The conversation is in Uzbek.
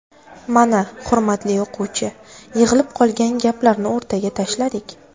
Mana, hurmatli o‘quvchi, yig‘ilib qolgan gaplarni o‘rtaga tashladik.